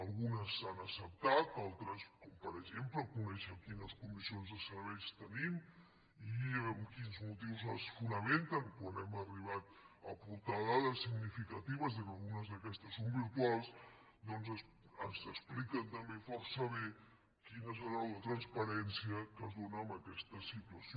algunes s’han acceptat altres com per exemple conèixer quines comissions de serveis tenim i en quins motius es fonamenten quan hem arribat a aportar dades significatives que algunes d’aquestes són virtuals doncs ens explica també força bé quina deu ser la transparència que es dóna en aquesta situació